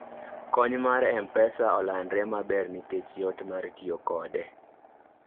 kony mar mpesa olandre maber nikech yot mar tiyo kode